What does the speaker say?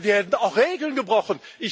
Da werden auch Regeln gebrochen!